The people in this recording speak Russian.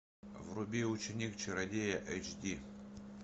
вруби ученик чародея эйч ди